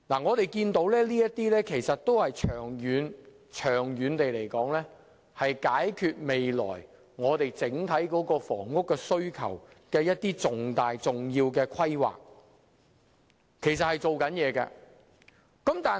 我們可以看到，這些都是可以長遠解決未來整體房屋需求的重要規劃，其實政府是有做工夫的。